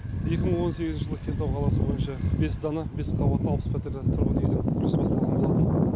екі мың он сегізінші жылы кентау қаласы бойынша бес дана бес қабатты алпыс пәтерлі тұрғын үйдің құрылысы басталған болатын